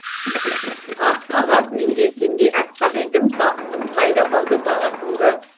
ақ қағаз менде сендей аппақ едім бақытым қайда қалды бала күнгі